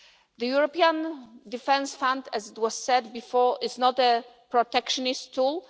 The European Defence Fund, as was said before, is not a protectionist tool